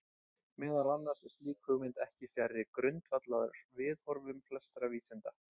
Meðal annars er slík hugmynd ekki fjarri grundvallarviðhorfum flestra vísinda.